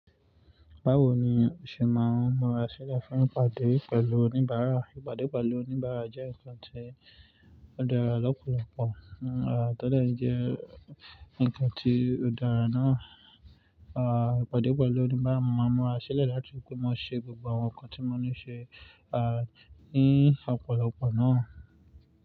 Báwo ni o ṣe máa ń múra sílẹ̀ fún ìpàdé pẹ̀lú oníbàárà? Ìpàdé pẹ̀lú oníbàárà jẹ́ ǹkan tí ó dára lọ́pọ̀lọpọ̀, tólè ẹ jẹ́ ǹkan tí ó dára náà, ìpàdé pẹ̀lú oníbàárà máa ń múra sílẹ̀ láti pè mo ṣe gbogbo àwọn nǹkan tí mo ní ṣe, ní ọ̀pọ̀lọpọ̀ náà.